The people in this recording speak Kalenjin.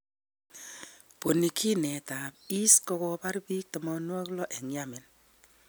ponyginet ap IS kokopar pik 60 en Yamen